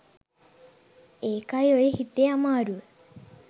ඒකයි ඔය හිතේ අමාරුව